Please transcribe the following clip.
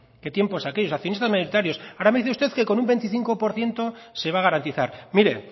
qué tiempos aquellos accionistas mayoritarios ahora me dice usted que con un veinticinco por ciento se va a garantizar mire